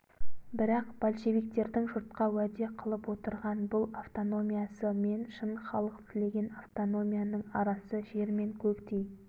бірақ большевиктердің жұртқа уәде қылып отырған бұл автономиясы мен шын халық тілеген автономияның арасы жер мен көктей